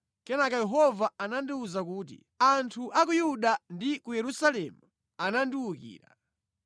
Kenaka Yehova anandiwuza kuti, “Anthu a ku Yuda ndi ku Yerusalemu andiwukira.